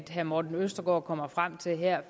herre morten østergaard kommer frem til her